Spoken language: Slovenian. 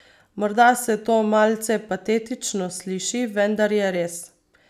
Morda se to malce patetično sliši, vendar je res.